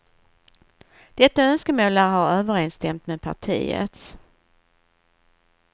Detta önskemål lär ha överensstämt med partiets.